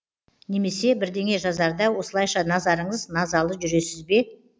немесе бірдеңе жазарда осылайша назарыңыз назалы жүресіз бе